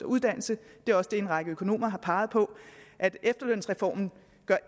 uddannelse en række økonomer har også peget på at efterlønsreformen